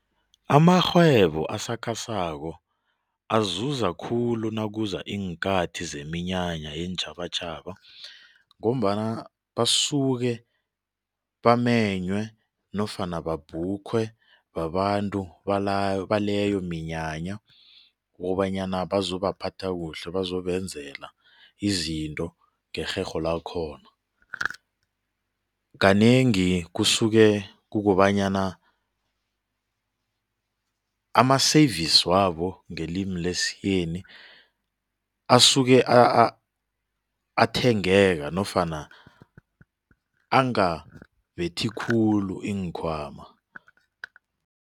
Amarhwebo asakhasako azuza khulu nakuza iinkathi zeminyanya yeentjhabatjhaba ngombana basuke bamenywe nofana babhukhwe babantu baleyo minyanya ukobanyana bazobaphatha kuhle bazobenzela izinto ngerherho lakhona. Kanengi kusuke kukobanyana ama-service wabo ngelimi lesiyeni asuke athengeka nofana angabethi khulu iinkhwama.